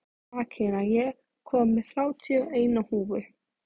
Akira, ég kom með þrjátíu og eina húfur!